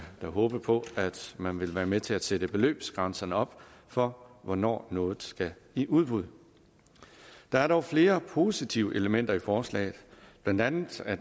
da håbe på at man vil være med til at sætte beløbsgrænserne op for hvornår noget skal i udbud der er dog flere positive elementer i forslaget blandt andet at